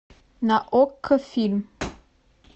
на окко фильм